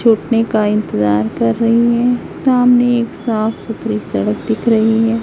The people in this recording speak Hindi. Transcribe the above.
छुटने का इंतजार कर रही है सामने एक साफ सुथरी सड़क दिख रही है।